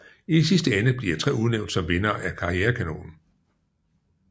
I sidste ende bliver tre udnævnt som vindere af KarriereKanonen